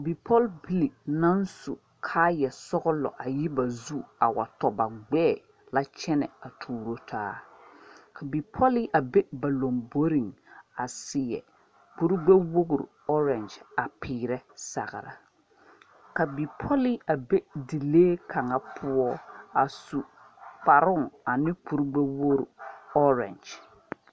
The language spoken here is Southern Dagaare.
Pɔgbilii nan su kaaya sɔglo ayi ba zu a wa tɔ ba gbeɛɛ la kyene a tuuro taa ka a bipɔlee a be ba lɔmboring a seɛ kuri gbe wouri orange a peɛre sagri ka bipolee a be dilee kanga pou a su kparoo ane kuri gbe wouri orange.